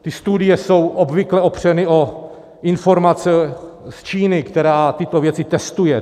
Ty studie jsou obvykle opřeny o informace z Číny, která tyto věci testuje.